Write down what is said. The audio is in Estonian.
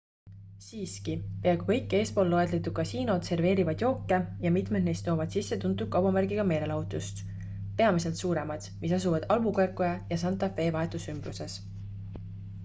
siiski peaaegu kõik eespool loetletud kasiinod serveerivad jooke ja mitmed neist toovad sisse tuntud kaubamärgiga meelelahutust peamiselt suuremad mis asuvad albuquerque ja santa fe vahetus ümbruses